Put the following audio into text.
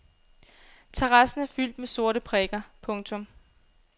Terrassen er fyldt med sorte prikker. punktum